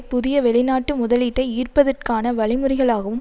புதிய வெளிநாட்டு முதலீட்டை ஈர்ப்பதற்கான வழிமுறைகளாகவும்